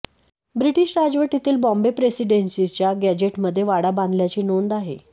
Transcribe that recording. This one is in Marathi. ब्रिटिश राजवटीतील बाँबे प्रेसिडेन्सीच्या गॅझेटमध्ये वाडा बांधल्याची नोंद आहे